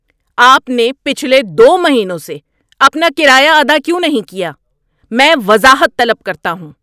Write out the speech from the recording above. آپ نے پچھلے دو مہینوں سے اپنا کرایہ ادا کیوں نہیں کیا؟ میں وضاحت طلب کرتا ہوں۔